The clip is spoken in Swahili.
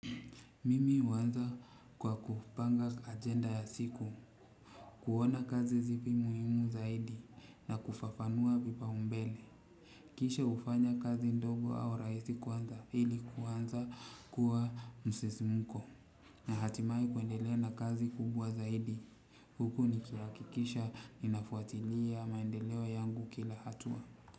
Mimi huanza kwa kupanga agenda ya siku. Kuona kazi zipi muhimu zaidi na kufafanua vipaumbele. Kisha hufanya kazi ndogo au rahisi kwanza ili kuanza kuwa msisimuko. Na hatimai kuendelea na kazi kubwa zaidi. Huku nikihakikisha ninafuatilia maendeleo yangu kila hatua.